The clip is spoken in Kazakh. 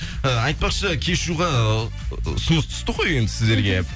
э айтпақшы кешьюға ұсыныс түсті ғой енді сіздерге